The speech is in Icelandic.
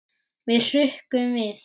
Við hrukkum við.